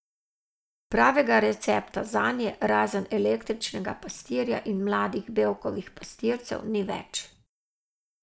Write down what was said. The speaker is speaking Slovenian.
Pravega recepta zanje razen električnega pastirja in mladih Bevkovih pastircev ni več.